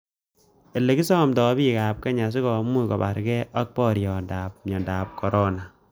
Ele kisomsoito bik ab kenya sikomuch kobarge ak borietan miondab corona.